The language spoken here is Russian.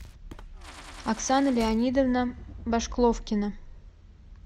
оксана леонидовна башкловкина